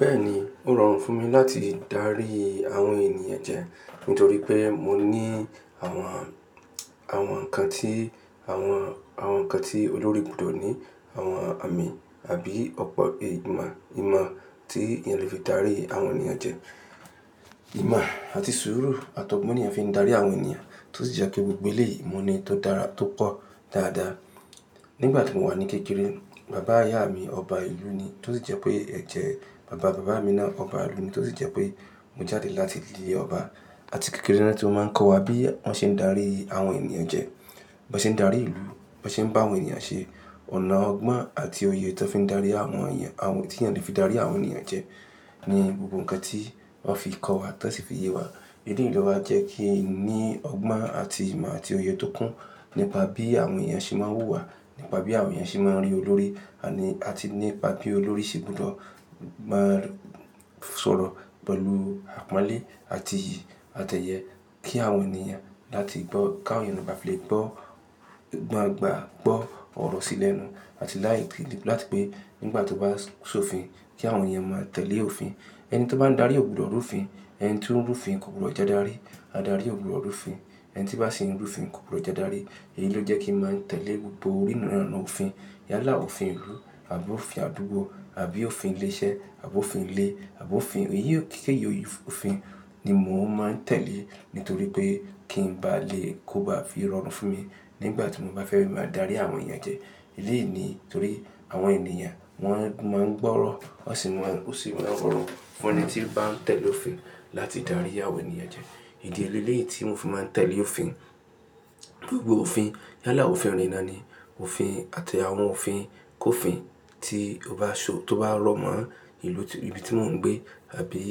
Bẹ́ẹ̀ni, ó rọrùn fún mi láti dárí àwọn ènìyàn jẹ, nítorí pé mo ní àwọn, àwọn nǹkan tí, àwọn, àwọn nǹkan tí olórí gbọ́dọ̀ ní, àwọn àmì àbí ọ̀pọ̀ èyí ìmọ̀, ìmọ̀ tí ènìyàn le fi dárí àwọn ènìyàn jẹ. Ìmọ̀ àti sùúrù àtọ̀gbọ́n ni ẹ fi ń dárí àwọn ènìyàn, tó sì jẹ́ pé gbogbo ilẹ̀ yìí ìmọ̀ ni tó dára tó pọ̀ dáadáa. Nígbà tí mo wà ní kékeré, bàbá ìyá mi ọba ìlú ni, tó sì jẹ́ pé ẹ̀ jẹ́ bàbá bàbá mi náà ọba ìlú ni, tó sì jẹ́ pé mo jáde láti ìdílé ọba. Àti kékeré náà tí wọ́n máa ń kọ́ wa bí wọ́n ṣe ń dárí àwọn ènìyàn jẹ, bí wọ́n ṣe ń dárí ìlú, bí wọ́n ṣe ń bá àwọn ènìyàn ṣe. Ọ̀nà ọgbọ́n àti òye tí wọ́n fi ń dárí àwọn ènìyàn, àwọn, tí ènìyàn le fi dárí àwọn ènìyàn jẹ ni gbogbo nǹkan tí wọ́n fi kọ́ wa, tó sì fi yé wa. Èyí ló jẹ́ kí n ní ọgbọ́n àti ìmọ̀ àti òye tó kún nípa bí àwọn ènìyàn ṣe máa ń wù wá, nípa bí àwọn ènìyàn ṣe máa ń rí olórí, àní, àti nípa bí olórí ṣe gbọ́dọ̀ má sọ̀rọ̀ pẹ̀lú àpọ́nlé àti, àtẹ̀yẹ kí àwọn ènìyàn láti gbọ́, káwọn ènìyàn gba lè gbọ́, gbọ́ àgbà gbọ́ ọ̀rọ̀ sílẹ̀ nù. Àti láìpẹ́ láti pé nígbà tí ó bá so fin kí àwọn ènìyàn máa tẹ̀lé òfin. Ẹni tó bá ń dárí ò gbọdọ̀ rúfin, ẹni tí ń rúfin kò gbọdọ̀ jẹ́ darí. A darí ò gbọdọ̀ rúfin, ẹni tí bá sì ń rúfin kò gbọdọ̀ jẹ́ darí. Èyí ló jẹ́ kí n máa tẹ̀lé gbogbo oríranlọ́wọ́ òfin. Yálà òfin ìlú àbí òfin àdúgbò àbí òfin ilé iṣẹ́ àbí òfin ilé àbí òfin èyí kéékèèké yìí òfin ni mò ń máa tẹ̀lé, nítorí pé kí n bá lè kó ba fi rọrùn fún mi nígbà tí mo bá fẹ́ máa darí àwọn ènìyàn jẹ. Èyí ni nítorí àwọn ènìyàn wọ́n máa ń gbọ́ ọ̀rọ̀, wọ́n sì máa ń gbọ́ ọ̀rọ̀. Ọ̀rọ̀ ni tí ó bá ń tẹ̀lé òfin láti dárí àwọn ènìyàn jẹ. Ìdí é lele yìí tí mò ń fi máa tẹ̀lé òfin, gbogbo òfin, yálà òfin ìlú náà ni òfin àti àwọn òfin kòfin tí ó bá so, tó bá rọ̀ mọ́ ìlú tí, ibi tí mò ń gbé àbí